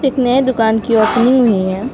एक नए दुकान की ओपनिंग हुई है।